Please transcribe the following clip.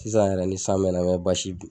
Sisan yɛrɛ ni san bɛ na n bɛ